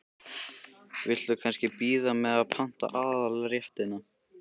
Viltu kannski bíða með að panta aðalréttina?